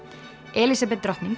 Elísabet drottning